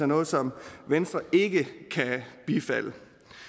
noget som venstre ikke kan bifalde